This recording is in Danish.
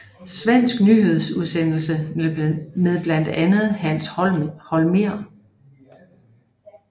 Svensk nyhedsudsendelse med blandt andet Hans Holmér